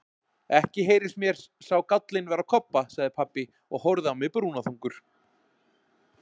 Ekki heyrist mér sá gállinn vera á Kobba, sagði pabbi og horfði á mig brúnaþungur.